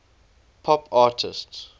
pop artists